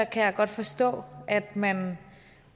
kan jeg godt forstå at man